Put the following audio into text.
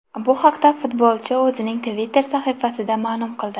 Bu haqda futbolchi o‘zining Twitter sahifasida ma’lum qildi.